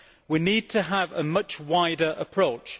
We need to have a much wider approach.